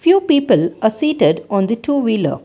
two people are seated on the two wheeler.